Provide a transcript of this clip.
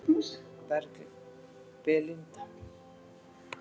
Belinda